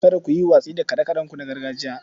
Kada ku yi watsi da kaɗe-kaɗenku na gargajiya.